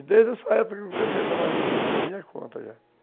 E desde essa época que eu comecei a trabalhar juta por minha conta já.